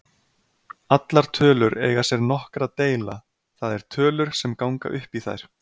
Allar tölur eiga sér nokkra deila, það er tölur sem ganga upp í þær.